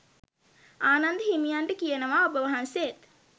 ආනන්ද හිමියන්ට කියනවා ඔබවහන්සේත්